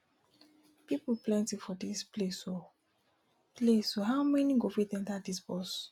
people plenty for dis place oo place oo how everyone go fit enter dis bus